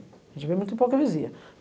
A gente vê muita hipocrisia.